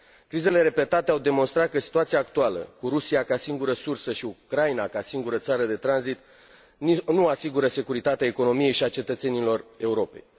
Crizele repetate au demonstrat că situația actuală, cu Rusia ca singură sursă și Ucraina, ca singură țară de tranzit, nu asigură securitatea economiei și a cetățenilor Europei.